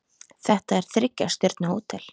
Þetta er þriggja stjörnu hótel.